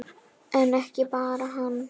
En ekki bara hann.